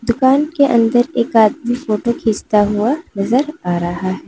दुकान के अंदर एक आदमी फोटो खींचता हुआ नजर आ रहा है।